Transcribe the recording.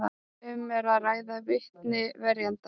Um er að ræða vitni verjenda